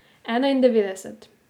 Enaindevetdeset.